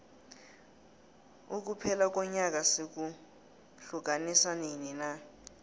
ukuphela konyaka sikuhiukanisa nini na